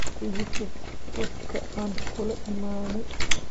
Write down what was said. Ikusuug wadka aan kula imani.